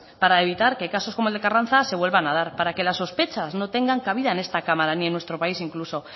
para evitar que casos como el de carranza se vuelvan a dar para que las sospechas no tengan cabida en esta cámara ni en nuestro país incluso